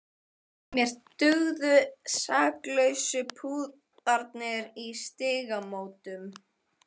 Mér dugðu saklausu púðarnir í Stígamótum!